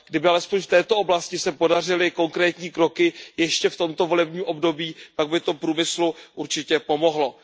Kdyby alespoň v této oblasti se podařily konkrétní kroky ještě v tomto volebním období, pak by to průmyslu určitě pomohlo.